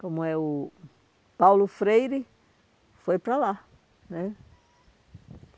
como é o Paulo Freire, foi para lá, né?